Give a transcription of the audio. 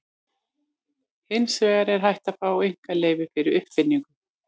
Hins vegar er hægt að fá einkaleyfi fyrir uppfinningu.